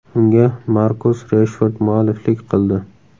Unga Markus Reshford mualliflik qildi.